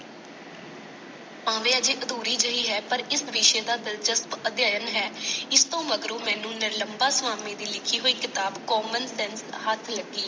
ਭਾਵੇਂ ਅਜੇ ਅਧੂਰੀ ਜਿਹੀ ਹੈ ਪਰ ਇਸ ਵਿਸ਼ੇ ਦਾ ਦਿਲਚਸਪ ਅਧਿਐਨ ਹੈ। ਇਸ ਤੋਂ ਮਗਰੋਂ ਮੈਨੂੰ ਨਿਰਲਮਬਾ ਸਵਾਮੀ ਦੀ ਲਿਖੀ ਹੋਈ ਕਿਤਾਬ common sense ਹੱਥ ਲੱਗੀ।